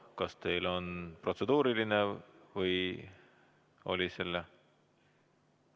Kas teil on protseduuriline või oli see?